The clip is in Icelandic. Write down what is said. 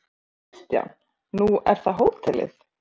Kristján: Nú er það hótelið?